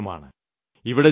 ഇതുമൊരു സമയമാണ്